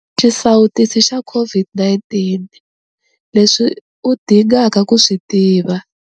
Xisawutisi xa COVID-19- Leswi u dingaka ku swi tiva.